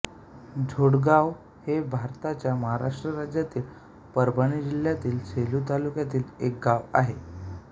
झोडगाव हे भारताच्या महाराष्ट्र राज्यातील परभणी जिल्ह्यातील सेलू तालुक्यातील एक गाव आहे